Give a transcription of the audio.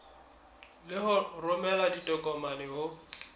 le ho romela ditokomane ho